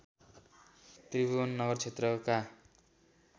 त्रिभुवन नगर क्षेत्रका